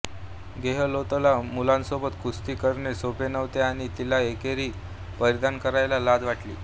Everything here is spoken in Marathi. गेहलोतला मुलांसोबत कुस्ती करणे सोपे नव्हते आणि तिला एकेरी परिधान करायला लाज वाटली